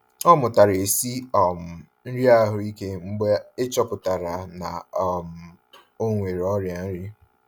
Ọ mụtara esi um nri ahụike mgbe e chọpụtara na um ọ nwere ọrịa nri.